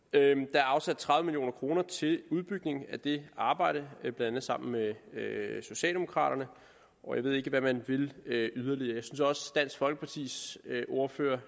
er afsat tredive million kroner til udbygning af det arbejde blandt andet sammen med med socialdemokraterne og jeg ved ikke hvad man vil yderligere jeg synes også at dansk folkepartis ordfører